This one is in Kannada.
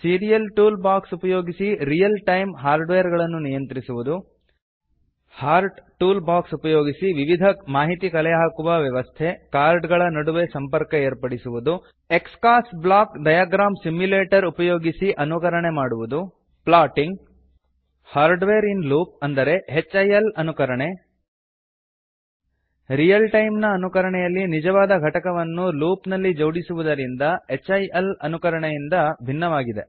ಸೀರಿಯಲ್ ಟೂಲ್ ಬಾಕ್ಸ್ ಉಪಯೋಗಿಸಿ ರಿಯಲ್ ಟೈಮ್ ಹಾರ್ಡ್ವೇರ್ ಗಳನ್ನು ನಿಯಂತ್ರಿಸುವುದು ಹಾರ್ಟ್ ಟೂಲ್ ಬಾಕ್ಸ್ ಉಪಯೋಗಿಸಿ ವಿವಿಧ ಮಾಹಿತಿ ಕಲೆ ಹಾಕುವ ವ್ಯವಸ್ಥೆಕಾರ್ಡ್ ಗಳ ನಡುವೆ ಸಂಪರ್ಕ ಏರ್ಪಡಿಸುವುದು Xcos - block diagram simulator ಉಪಯೋಗಿಸಿ ಅನುಕರಣೆ ಮಾಡುವುದು ಪ್ಲಾಟಿಂಗ್ ಹಿಲ್ ಅನುಕರಣೆ ರಿಯಲ್ ಟೈಮ್ ಅನುಕರಣೆಯಲ್ಲಿ ನಿಜವಾದ ಘಟಕವನ್ನು ಲೂಪ್ ನಲ್ಲಿ ಜೋಡಿಸುವುದರಿಂದ ಹಿಲ್ ಅನುಕರಣೆಗಿಂತ ಭಿನ್ನವಾಗಿದೆ